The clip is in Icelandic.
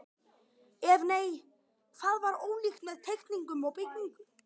Ef nei, hvað var ólíkt með teikningum og byggingu?